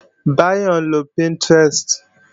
Báyọ̀ ń lo Pinterest